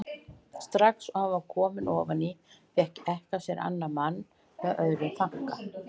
Strax og hann var kominn ofan í fékk ekkjan sér annan mann með öðrum þanka.